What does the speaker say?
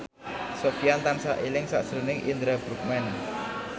Sofyan tansah eling sakjroning Indra Bruggman